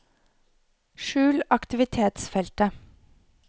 skjul aktivitetsfeltet